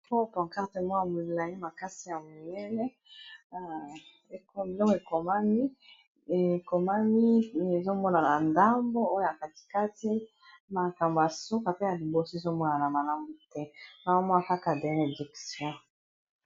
Oyo pancarte ya molai ,makasi ya munene ekomami ezomonana ndambo oyo ya katikati makambo ya suka pe ya liboso ezomonana malamu te ,nazomo a Kaka bénédiction.